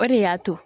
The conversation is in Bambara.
O de y'a to